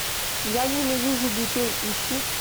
я ненавижу детей ищи